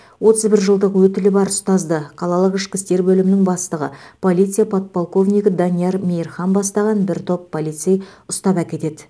отыз бір жылдық өтілі бар ұстазды қалалық ішкі істер бөлімінің бастығы полиция подполковнигі данияр мейірхан бастаған бір топ полицей ұстап әкетеді